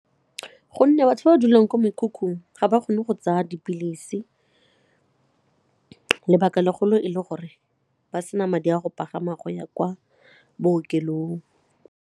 Gonne batho ba ba dulang ko mekhukhung ga ba kgone go tsaya dipilisi, lebaka legolo e leng gore ba sena madi a go pagama go ya kwa bookelong.